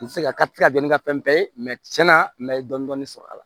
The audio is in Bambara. N tɛ se ka tɛ se ka kɛ n ka fɛn bɛɛ ye tiɲɛna n bɛ dɔɔnin-dɔɔnin sɔrɔ a la